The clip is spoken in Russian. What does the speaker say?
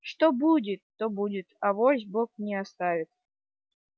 что будет то будет авось бог не оставит